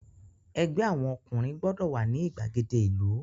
Ẹgbẹ́ àwọn ọkùnrin gbọ́dọ̀ wà ní ìgbàgede ìlú!